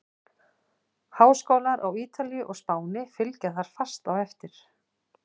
Háskólar á Ítalíu og Spáni fylgja þar fast á eftir.